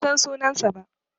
Ban san sunansa ba.